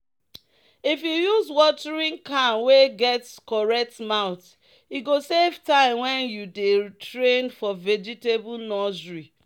"if you use watering can wey get correct mouth e go save time when you dey train for vegetable nursery."